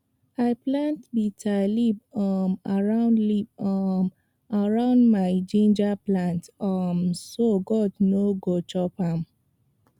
i plant bitter leaf um around leaf um around my ginger plant um so goat no go chop am